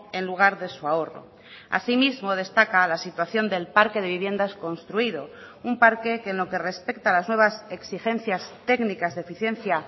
en lugar de su ahorro asimismo destaca la situación del parque de viviendas construido un parque que en lo que respecta a las nuevas exigencias técnicas de eficiencia